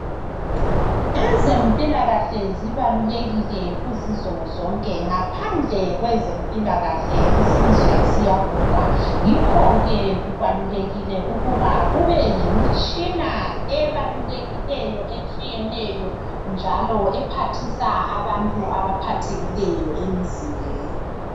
Ezempilakahle zibalulekile kuzizwe zonke ngaphandle kwezempilakahle isizwe ziyabhubha yikho ke kubalulekile ukuba kube lemitshina ebalulekileyo etshiyeneyo njalo ephathisa abantu abaphathekileyo emzimbeni.